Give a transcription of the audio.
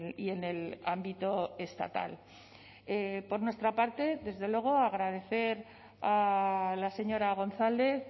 y en el ámbito estatal por nuestra parte desde luego agradecer a la señora gonzález